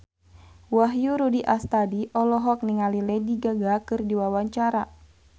Wahyu Rudi Astadi olohok ningali Lady Gaga keur diwawancara